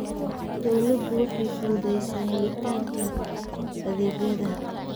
Dawladdu waxay fududaysaa helitaanka adeegyada.